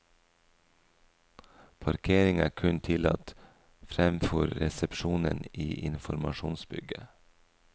Parkering er kun tillatt fremfor resepsjonen i informasjonsbygget.